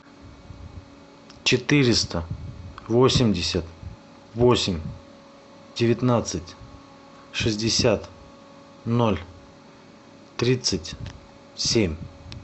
четыреста восемьдесят восемь девятнадцать шестьдесят ноль тридцать семь